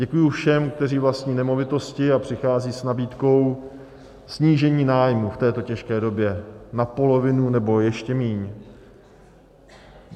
Děkuji všem, kteří vlastní nemovitosti a přicházejí s nabídkou snížení nájmu v této těžké době na polovinu nebo ještě míň.